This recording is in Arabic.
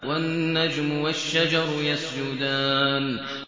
وَالنَّجْمُ وَالشَّجَرُ يَسْجُدَانِ